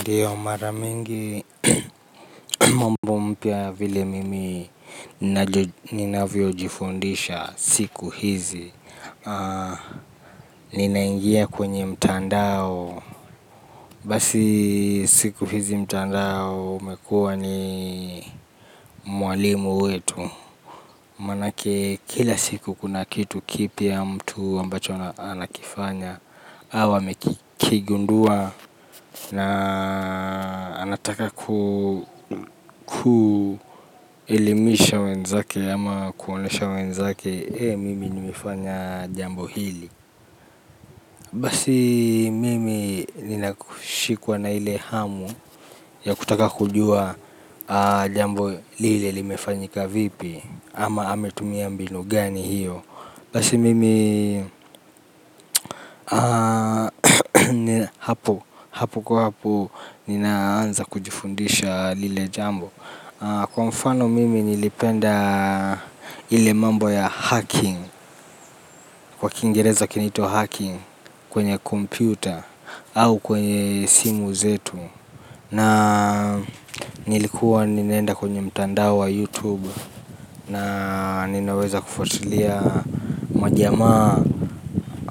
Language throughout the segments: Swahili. Ndiyo maramingi mambo mpya vile mimi ninavyo jifundisha siku hizi. Ninaingia kwenye mtandao. Basi siku hizi mtandao umekua ni mwalimu wetu. Manake kila siku kuna kitu kipya mtu ambacho anakifanya. Hau amekigundua na anataka kuelimisha wenzake ama kuonesha wenzake. Hei mimi nimifanya jambo hili. Basi mimi ninakushikuwa na ile hamu ya kutaka kujua jambo lile limefanyika vipi. Ama ametumia mbinu gani hiyo. Basi mimi hapo kwa hapo ninaanza kujifundisha lile jambo. Kwa mfano mimi nilipenda ile mambo ya hacking. Kwa kingereza kinito hacking kwenye computer au kwenye simu zetu. Na nilikuwa ninaenda kwenye mtandao wa youtube. Na ninaweza kufuatulia majama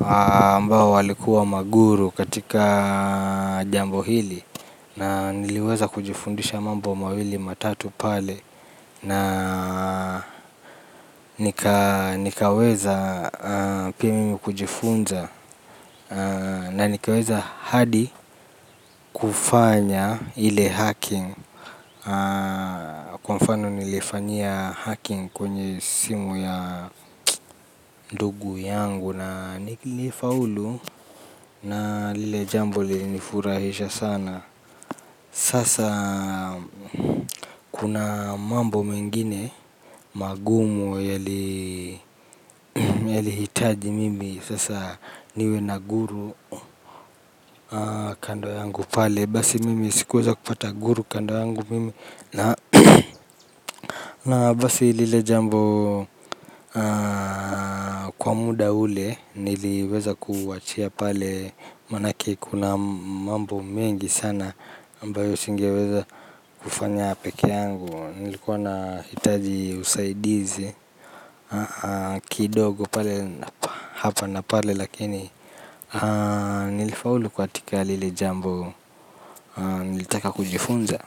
ambao walikuwa maguru katika jambo hili. Na niliweza kujifundisha mambo mawili matatu pale. Na nikaweza pia mimi kujifunza. Na nikaweza hadi kufanya ile hacking. Kwa mfano nilifanyia hacking kwenye simu ya ndugu yangu na nilifaulu. Na lile jambo li nifurahisha sana. Sasa kuna mambo mengine magumu yaliitaji mimi sasa niwe naguru kando yangu pale basi mimi sikuweza kupata guru. Na basi lile jambo kwa muda ule niliweza kuachia pale manake kuna mambo mengi sana ambayo singeweza ufanya peke yangu nilikuwa nahitaji usaidizi kidogo pale hapa na pale lakini nilifaulu katika lile jambo nilitaka kujifunza.